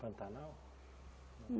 Pantanal?